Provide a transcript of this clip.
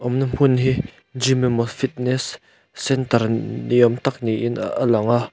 na hmun hi gym emaw fitness centre ni awm tak niin a lang a.